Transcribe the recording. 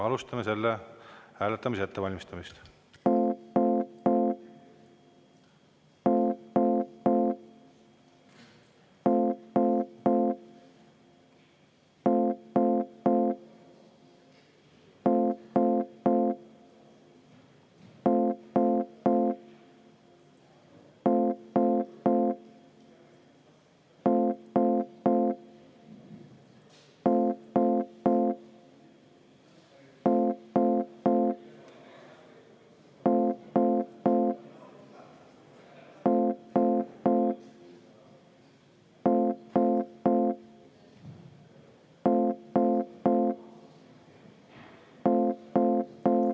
Alustame selle hääletamise ettevalmistamist.